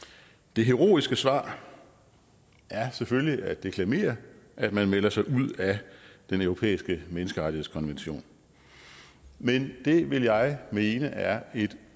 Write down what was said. det heroiske svar er selvfølgelig at deklamere at man melder sig ud af den europæiske menneskerettighedskonvention men det vil jeg mene er et